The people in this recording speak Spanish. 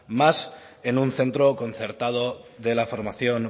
más en un centro concertado de la formación